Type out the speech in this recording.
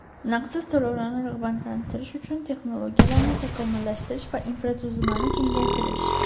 naqdsiz to‘lovlarni rag‘batlantirish uchun texnologiyalarni takomillashtirish va infratuzilmani kengaytirish;.